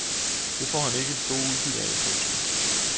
Det får han ikke det store udbytte ud af. punktum